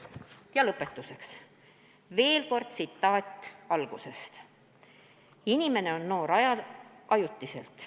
Ja lõpetuseks veel kord kaks tsitaati ettekande algusest: "Inimene on noor ajutiselt."